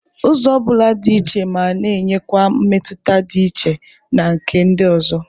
Ụzọ ọ bụla dị iche ma na-enyekwa mmetụta dị iche na nke ndị ọzọ.